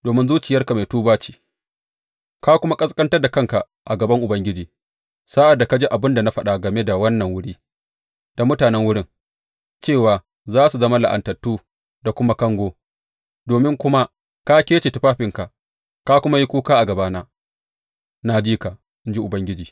Domin zuciyarka mai tuba ce, ka kuma ƙasƙantar da kanka a gaban Ubangiji sa’ad da ka ji abin da na faɗa game da wannan wuri da mutanen wurin, cewa za su zama la’antattu da kuma kango, domin kuma ka kece tufafinka, ka kuma yi kuka a gabana, na ji ka, in ji Ubangiji.